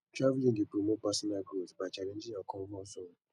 travelling dey promote personal growth by challenging your comfort zone